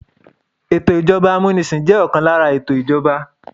Ètò ìjọba amunisin jẹ́ ọ̀kan lára ètò ìjọba.